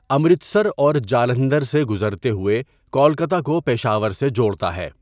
امرتسر اور جالندھر سے گزرتے ہوۓ کولکتہ کو پشاور سے جوڑتا ہے۔